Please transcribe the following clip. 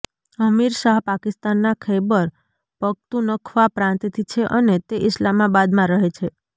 હરીમ શાહ પાકિસ્તાના ખૈબર પખ્તૂનખ્વા પ્રાંતથી છે અને તે ઇસ્લામાબાદમાં રહે છે